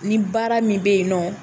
Nin baara min bɛ yen nɔ